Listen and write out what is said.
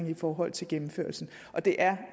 i forhold til gennemførelsen og det er